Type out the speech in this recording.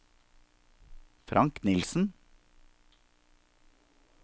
Frank Nielsen